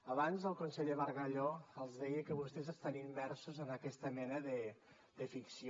abans el conseller bargalló els deia que vostès estan immersos en aquesta mena de ficció